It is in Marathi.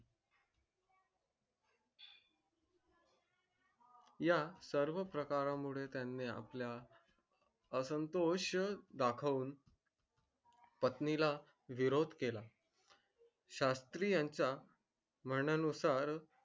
या सर्व प्रकार मुळे त्यानी आपल्या असंतोष पत्नी ला विरोध केला शास्त्रीयाच्या मान्यानुसार